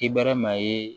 Kibɛrɛ maa ye